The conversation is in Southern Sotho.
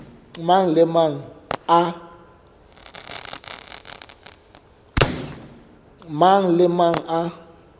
mang le a mang a